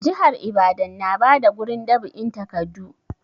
Jihar ibadan na da gurin dab'in takadu